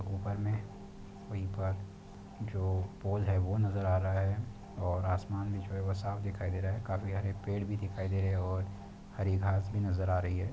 ऊपर मे है जो वो नजर आ रहा है और आसमान भी है वो साफ दिखाई दे रहा है काफी सारे पेड़ भी दिखाई दे रहे है और हरी घास भी नजर आ रही हैं।